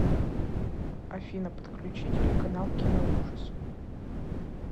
афина подключи телеканал киноужас